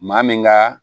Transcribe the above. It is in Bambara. Maa min ka